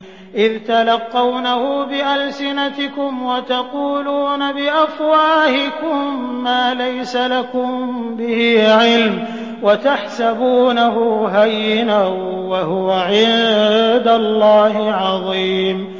إِذْ تَلَقَّوْنَهُ بِأَلْسِنَتِكُمْ وَتَقُولُونَ بِأَفْوَاهِكُم مَّا لَيْسَ لَكُم بِهِ عِلْمٌ وَتَحْسَبُونَهُ هَيِّنًا وَهُوَ عِندَ اللَّهِ عَظِيمٌ